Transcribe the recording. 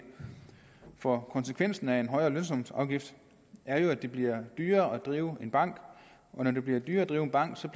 for konsekvensen af en højere lønsumsafgift er jo at det bliver dyrere at drive bank og når det bliver dyrere at drive bank